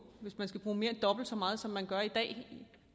hvis man skal bruge mere end dobbelt så meget som man gør i dag